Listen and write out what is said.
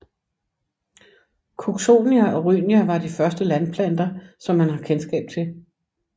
Cooksonia og Rhynia var de første landplanter som man har kendskab til